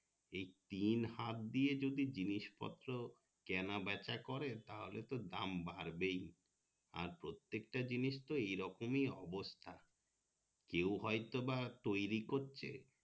এই তিন হাত দিয়ে যদি জিনিস পত্র কেনাবেচা করে তাহলে তো দাম বাড়বেই আর প্রত্যেকটা জিনিসতো এই রকমই অবস্থা কেও হয়তো বা তৈরি করছে